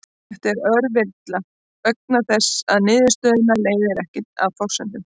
Þetta er rökvilla vegna þess að niðurstöðuna leiðir ekki af forsendunum.